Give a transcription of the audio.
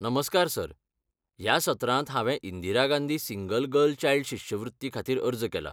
नमस्कार सर, ह्या सत्रांत हांवें Indira Gandhi single girl child शिश्यवृत्ती खातीर अर्ज केला.